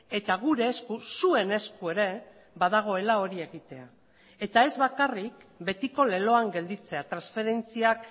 eta gure esku zuen esku ere badagoela hori egitea eta ez bakarrik betiko leloan gelditzea transferentziak